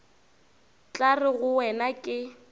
tla re go wena ke